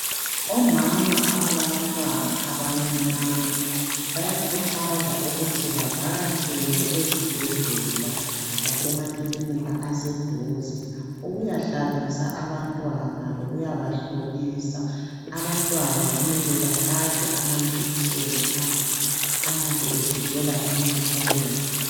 Omama abalabantwana abancinyane bayakhuthazwa ukuthi bavakatshele esibhedlela lasemakilinika aseduze ukuyahlabisa abantwana lokuyabahlolisa. Abantwana kumele bahlatshwe amajekiseni ayabe evikela emikhuhlaneni.